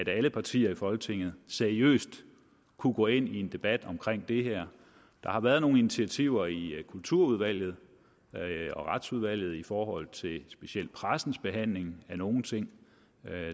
alle partier i folketinget seriøst kunne gå ind i en debat omkring det her der har været nogle initiativer i kulturudvalget og retsudvalget i forhold til specielt pressens behandling af nogle ting